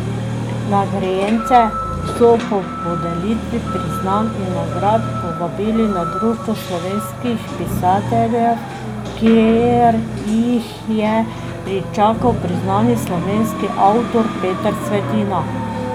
Nagrajence so po podelitvi priznanj in nagrad povabili na Društvo slovenskih pisateljev, kjer jih je pričakal priznani slovenski avtor Peter Svetina.